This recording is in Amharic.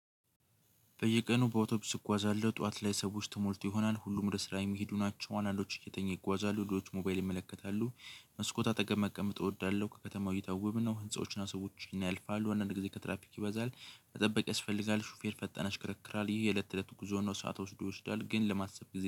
በየቀኑ በአውቶቢስ እጓዛለሁ ጠዋት ላይ ሰዎች ተሞልቶ ይሆናል ሁሉም ወደ ስራ የሚሄዱ ናቸው። አንዳንዶች እየተኙ ይጓዛሉ ሌሎች ሞባይል ይመለከታሉ። መስኮት አጠገብ መቀመጥ እወዳለሁ ከከተማው እይታ ውብ ነው። ህንፃዎችን ሰዎች ስናይ ያልፋሉ አንዳንድ ጊዜ ትራፒክ ይበዛል መጠበቅ ያስፈልጋል። ሹፌር ፈጣን ያሽከረክራል ይህ የለት ለት ጉዞ ነው። ሰዓት ወስዶ ይወስዳል ግን ለማሰብ ጊዜ